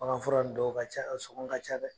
Baganfura dɔw ka ca, a sɔngɔn ka ca dɛ